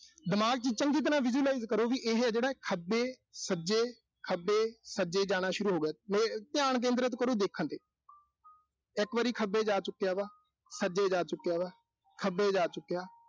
ਦਿਮਾਗ ਚ ਜਿਹੜਾ ਚੰਗੀ ਤਰ੍ਹਾਂ visualize ਕਰੋ, ਵੀ ਇਹੇ ਜਿਹੜਾ ਖੱਬੇ-ਸੱਜੇ, ਖੱਬੇ-ਸੱਜੇ ਜਾਣਾ ਸ਼ੁਰੂ ਹੋਗਿਆ ਅਹ ਧਿਆਨ ਕੇਂਦਰਤ ਕਰੋ, ਦੇਖਣ ਤੇ ਇੱਕ ਵਾਰੀ ਖੱਬੇ ਜਾ ਚੁੱਕਿਆ ਵਾ, ਸੱਜੇ ਜਾ ਚੁੱਕਿਆ ਵਾ, ਖੱਬੇ ਜਾ ਚੁੱਕਿਆ।